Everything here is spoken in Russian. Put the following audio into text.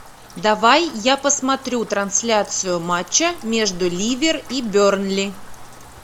давай я посмотрю трансляцию матча между ливер и бернли